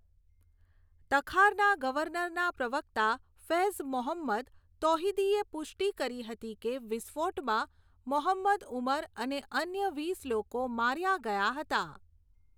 તખારના ગવર્નરના પ્રવક્તા ફૈઝ મોહમ્મદ તૌહિદીએ પુષ્ટિ કરી હતી કે વિસ્ફોટમાં મોહમ્મદ ઉમર અને અન્ય વીસ લોકો માર્યા ગયા હતા.